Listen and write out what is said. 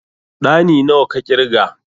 Ɗani nawa ka ƙirga?